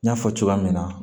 N y'a fɔ cogoya min na